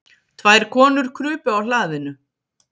Tvær konur krupu á hlaðinu.